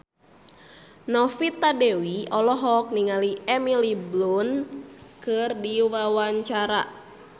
Novita Dewi olohok ningali Emily Blunt keur diwawancara